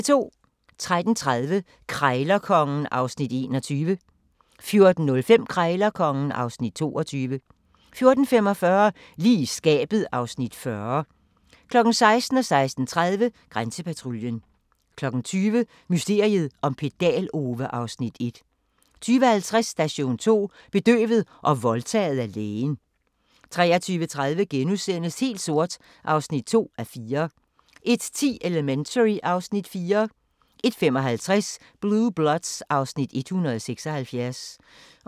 13:30: Krejlerkongen (Afs. 21) 14:05: Krejlerkongen (Afs. 22) 14:45: Lige i skabet (Afs. 40) 16:00: Grænsepatruljen 16:30: Grænsepatruljen 20:00: Mysteriet om Pedal-Ove (Afs. 1) 20:50: Station 2: Bedøvet og voldtaget af lægen 23:30: Helt sort (2:4)* 01:10: Elementary (Afs. 4) 01:55: Blue Bloods (Afs. 176)